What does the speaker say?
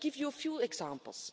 Let me give you a few examples.